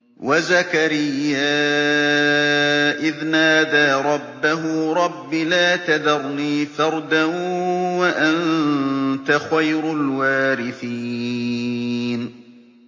وَزَكَرِيَّا إِذْ نَادَىٰ رَبَّهُ رَبِّ لَا تَذَرْنِي فَرْدًا وَأَنتَ خَيْرُ الْوَارِثِينَ